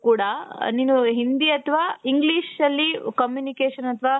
ಕೂಡ ನೀವು ಹಿಂದಿ ಅಥವಾ Englishನಲ್ಲಿ communication ಅಥವಾ